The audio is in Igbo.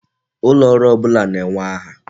Ulooru ọbụla na-enwe aha.